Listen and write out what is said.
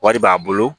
Wari b'a bolo